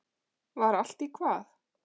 Var allt í hvað?